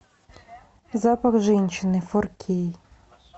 запах женщины фор кей